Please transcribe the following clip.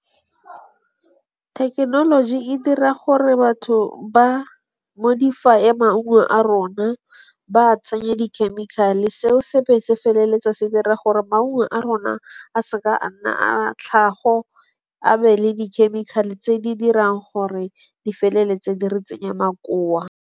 Thekenoloji e dira gore batho ba modify-eye maungo a rona, ba a tsenye dikhemikhale seo se be se feleletsa se dira gore maungo a rona a se ka a nna a tlhago, a be le di-chemical-e tse di dirang gore di feleletse di re tsenya makoa.